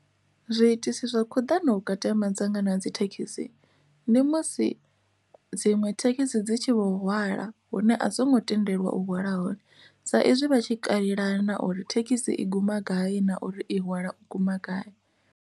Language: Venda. Zwiitisi zwa khuḓano vhukati ha madzanga na dzi thekhisi ndi musi dziṅwe thekhisi dzi tshi vho hwala hune a songo tendeliwa u hwala hone sa izwi vha tshi katela na uri thekhisi i guma gai na uri i hwala guma gai.